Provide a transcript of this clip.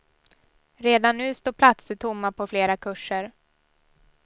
Redan nu står platser tomma på flera kurser.